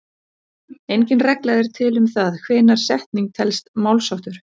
Engin regla er til um það hvenær setning telst málsháttur.